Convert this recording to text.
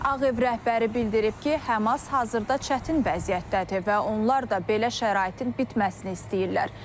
Ağev rəhbəri bildirib ki, Həmas hazırda çətin vəziyyətdədir və onlar da belə şəraitin bitməsini istəyirlər.